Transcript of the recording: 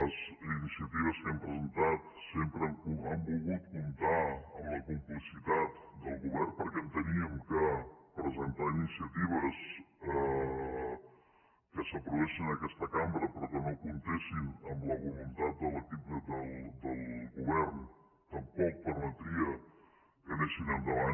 les iniciatives que hem presentat sempre han volgut comptar amb la complicitat del govern perquè enteníem que presentar iniciatives que s’aprovessin en aquesta cambra però que no comptessin amb la voluntat de l’equip del govern tampoc permetria que anessin endavant